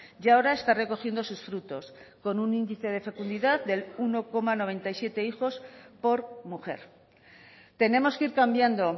y ahora está recogiendo sus frutos con un índice de fecundidad de uno coma noventa y siete hijos por mujer tenemos que ir cambiando